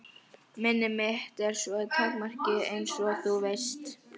Minni mitt er svo takmarkað einsog þú veist.